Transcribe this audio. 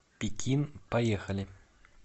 пекин поехали